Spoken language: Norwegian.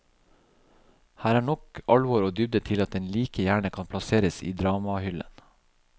Her er nok alvor og dybde til at den like gjerne kan plasseres i dramahyllen.